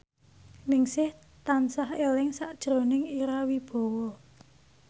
Ningsih tansah eling sakjroning Ira Wibowo